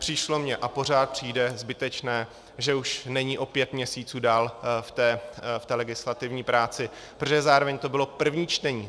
Přišlo mi a pořád přijde zbytečné, že už není o pět měsíců dál v té legislativní práci, protože zároveň to bylo první čtení.